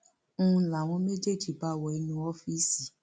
ń láwọn méjèèjì bá wo inú ọọfíìsì